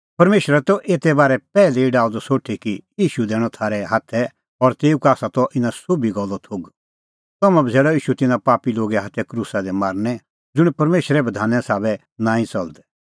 परमेशरै त एते बारै पैहलै ई डाहअ द सोठी कि ईशू दैणअ थारै हाथै और तेऊ का आसा त इना सोभी गल्लो थोघ तम्हैं बझ़ैल़अ ईशू तिन्नां पापी लोगे हाथै क्रूसा दी मारनै ज़ुंण परमेशरे बधाने साबै नांईं च़लदै